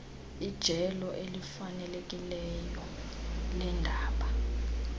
ijelo elifanelekileyo leendaba